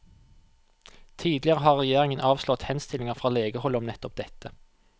Tidligere har regjeringen avslått henstillinger fra legehold om nettopp dette.